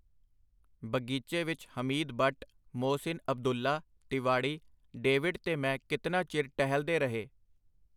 ਬਗੀਚੇ ਵਿਚ ਹਮੀਦ ਬੱਟ, ਮੋਹਸਿਨ ਅਬਦੁੱਲਾ, ਤਿਵਾੜੀ, ਡੇਵਿਡ ਤੇ ਮੈਂ ਕਿਤਨਾ ਚਿਰ ਟਹਿਲਦੇ ਰਹੇ.